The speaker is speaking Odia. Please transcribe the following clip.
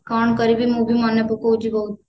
କଣ କରିବି ମୁଁ ବି ମନେ ପକଉଛି ବହୁତ